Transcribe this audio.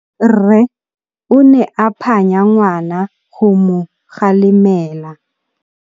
Rre o ne a phanya ngwana go mo galemela.